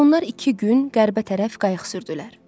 Onlar iki gün qərbə tərəf qayıq sürdülər.